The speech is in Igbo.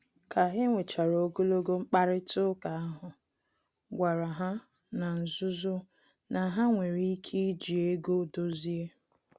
Ka enwechara ogologo mkparịta ụka ahụ, gwara ha na-nzuzo na ha nwere ike iji ego dozie